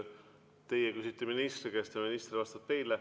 Teie küsite ministri käest ja minister vastab teile.